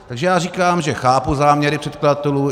Takže já říkám, že chápu záměry předkladatelů.